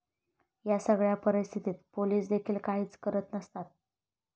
या सगळ्या परिस्थितीत पोलिसदेखील काहीच करत नसतात.